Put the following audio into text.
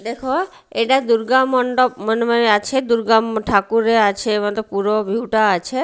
দেখ এটা দুর্গা মণ্ডপ আছে দুর্গা ঠাকুরের আছে মতলব পুরা ভিউ -টা আছে।